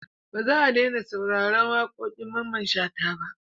Ba za a daina sauraron waƙoƙin Mamman Shata ba.